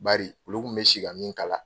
Bari olu kun bɛ si min kala.